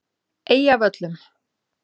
Eyjavöllum